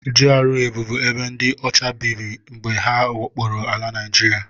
GRA bubu ebe ndị ọcha biri mgbe ha wakporo ala Naịjiria